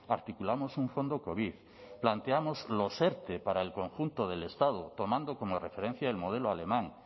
articulamos un fondo covid planteamos los erte para el conjunto del estado tomando como referencia el modelo alemán